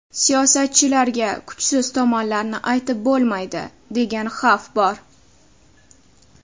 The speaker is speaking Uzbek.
Siyosatchilarga kuchsiz tomonlarni aytib bo‘lmaydi, degan xavf bor.